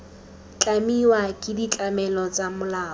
tlamiwa ke ditlamelo tsa molao